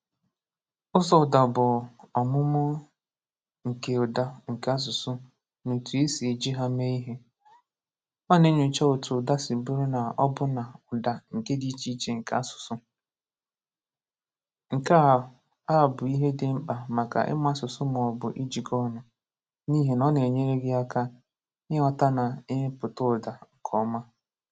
Ụzọ ụ̀dà bụ ọmụmụ nke ụ̀dà nke asụsụ na otú e si eji ha mee ihe. Ọ na-enyocha otú ụ̀dà si bụrụ na ọ bụ́nà na ụ̀dà nke dị iche iche nke asụsụ. Nke a a bụ ihe dị mkpa maka ịmụ asụsụ ma ọ bụ ijikọ ọnụ, n’ihi na ọ na-enyere gị aka ịghọta na imepụta ụ̀dà nke ọma.